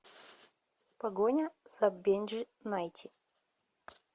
погоня за бенджи найти